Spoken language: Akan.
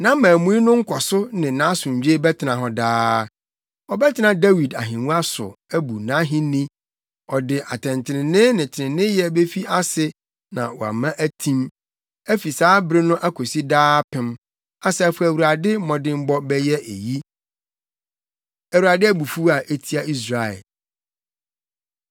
Nʼamammui no nkɔso ne Nʼasomdwoe bɛtena hɔ daa. Ɔbɛtena Dawid ahengua so abu Nʼahenni, Ɔde atɛntrenee ne treneeyɛ befi ase na wama atim afi saa bere no akosi daa apem. Asafo Awurade mmɔdemmɔ bɛyɛ eyi. Awurade Abufuw A Etia Israel